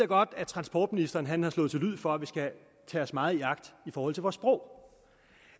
godt at transportministeren har slået til lyd for at vi skal tage os meget i agt i forhold til vores sprog